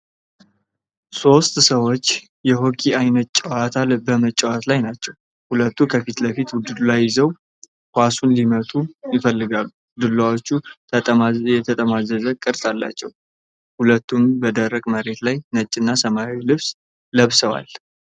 ሦስት ሰዎች የሆኪ ዓይነት ጨዋታ በመጫወት ላይ ናቸው። ሁለቱ ከፊት ለፊት ዱላ ይዘው ኳሱን ሊመቱ ይፈልጋሉ። ዱላዎቹ የተጠማዘዘ ቅርጽ አላቸው። ሁሉም በደረቅ መሬት ላይ ነጭና ሰማያዊ ልብስ ለብሰዋል።